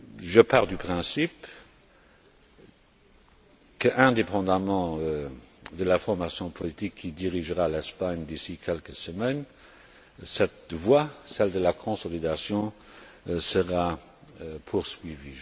Je pars du principe qu'indépendamment de la formation politique qui dirigera l'Espagne d'ici quelques semaines, cette voie celle de la consolidation sera poursuivie.